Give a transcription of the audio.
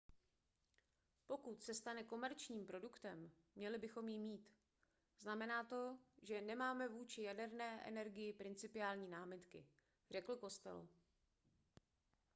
pokud se stane komerčním produktem měli bychom ji mít znamená to že nemáme vůči jaderné energii principiální námitky řekl costello